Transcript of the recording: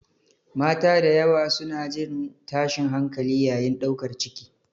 Mata da yawa suna jin tashin hankali yayin ɗaukar ciki.